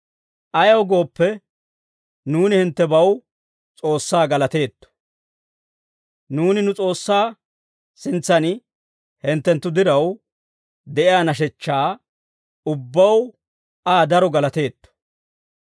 Ayaw gooppe, nuuni hinttebaw S'oossaa galateetto. Nuuni nu S'oossaa sintsan hinttenttu diraw de'iyaa nashechchaa ubbaw Aa daro galateetto.